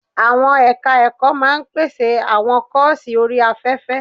Àwọn ẹ̀ka ẹ̀kọ́ máa pèsè àwọn kọ́ọ̀sì orí afẹ́fẹ́.